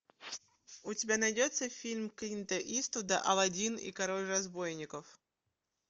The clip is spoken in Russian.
у тебя найдется фильм клинта иствуда алладин и король разбойников